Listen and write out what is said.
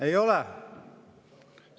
Ei ole?